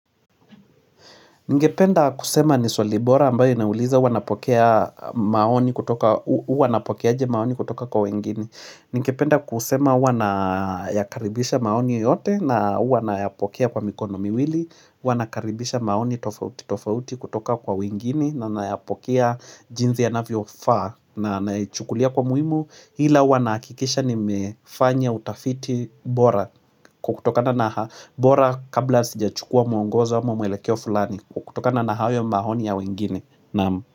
Ningependa kusema ni swali bora ambayo inauliza wanapokea maoni kutoka, huwa napokeaje maoni kutoka kwa wengini. Ningependa kusema huwa nayakaribisha maoni yote na huwa nayapokea kwa mikono miwili, huwa nakaribisha maoni tofauti tofauti kutoka kwa wengini na nayapokea jinsi yanavyo faa na anayechukulia kwa muhimu. Ila huwa nahakikisha nimefanya utafiti bora kutokana na bora kabla sijachukua mwongozo ama mwelekeo fulani. Kutokana na hayo maoni ya wengine naam.